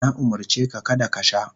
Na umurce ka kada ka sha.